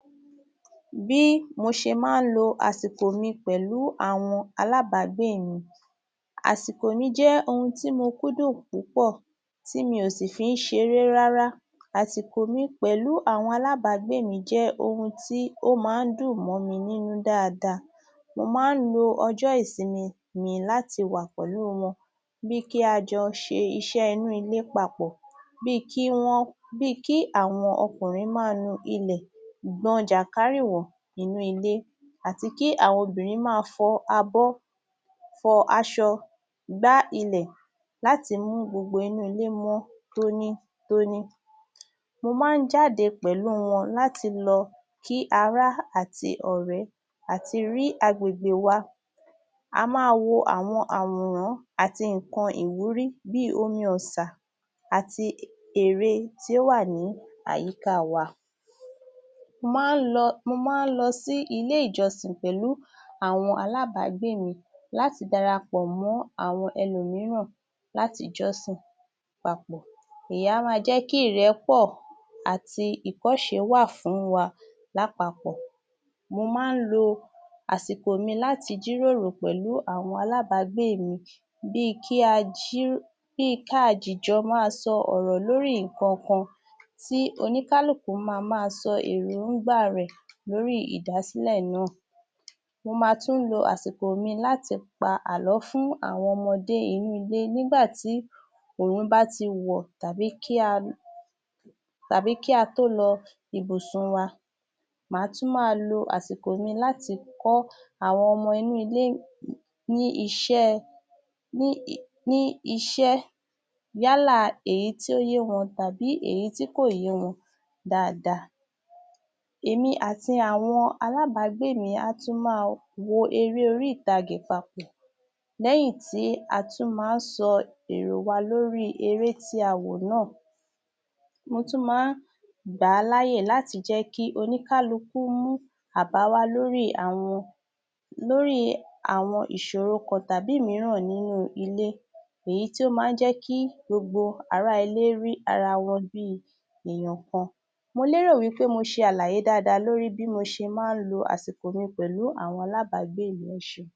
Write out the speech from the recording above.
Bí mo ṣe ma ń lo àsìkò mi pẹ̀lú àwọn alábágbé mi. Àsìkò mi jẹ́ ohun tí mo kúndùn púpọ̀ tih mi ò sì fi ń ṣeré rárá. Àsìkò mi pẹ̀lú àwọn alábágbé mi jẹ́ ohun tí ó ma ń dùn mó mi nínú dáada, mo ma ń lo ọjọ́ ìsinmi mi láti wà pẹ̀lú u wọn bih i kí a jọ ṣe iṣẹ́ inú ilé papọ̀ bí i kí wọ́n..bí i kí àwọn ọkùnrin máa nu ilẹ̀, gbọn jàǹkárìwọ̀ inú ilé àti kí àwọn obìnrin máa fọ abọ́, fọ asọ, gbá ilẹ̀ láti mu gbogbo inú ilé mọ́ tónítóní. Mo ma ń jáde pẹ̀lú wọn láti lọ kí ará àti ọ̀rẹ́ àti rí agbègbè wa a máa wo àwọn àwòrán àti ère tó wà ní àyíká a wa. Mo ma ń lọ..mo ma ń lọ sí ilé ìjọsìn pẹ̀lú àwọn alábágbé mi láti dara pọ̀ mọ́ àwọn ẹlòmíràn láti jọ́sìn papọ̀. Èyí a ma jẹ́ kí ìrẹ́pọ̀ àti ìkọ́ṣe wà fún wa lápapọ̀. Mo ma ń lo àsìkò mi láti jíròrò pẹ̀lú àwọn alábágbé mi bí i kí a jì..bí i kí a dìjọ máa sọ ọ̀rọ̀ lórí ǹkan kan tí oníkálùkù ma máa sọ èròńgbá a rẹ̀ lórí ìdásílẹ̀ náà. Mo ma tún lo àsìkò mi láti pa àlọ́ fún àwọn ọmọ inú ilé nígbà tí òrùn bá ti wọ̀ tàbí kí a tó lọ ibùsùn wa. Màá tú máa o àsìkò mi láti kọ́ àwọn ọmọ inú ilé ní iṣẹ́ ẹ..ní iṣẹ́ yálà èyí tí ó yé wọn tàbí èyí tí kò yé wọn dáadáa. Èmi àti àwọn alábágbé mi tún máa wo eré orí ìtagè papọ̀. Lẹ́yìn tí a tún má ń sọ èrò wa lórí eré tí a wò náà. Mo tún ma ń gbà á láyè láti jẹ́ kí oníkálukú mú àbá wá lórí àwọn ìṣòro kan tàbí mìíràn nínú ilé èyí tí ó ma ń jẹ́ kí gbogbo ará ilé rí ara wọn bí i èyàn kan. Mo lérò wí pé mo ṣe àlàyé dáadáa lórí bí mo ṣe ma ń lo àsìkò mi pẹ̀lú àwọn alábágbé mi. Ẹ ṣeun.